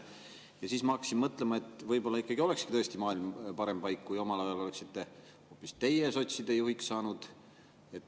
Ja siis ma hakkasin mõtlema, et võib‑olla tõesti maailm olekski parem paik, kui omal ajal oleksite hoopis teie sotside juhiks saanud.